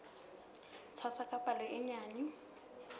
tshwasa ka palo e nyenyane